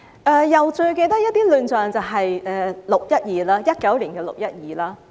我又記得一些亂象，其中之一就是2019年的"六一二"事件。